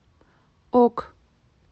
ок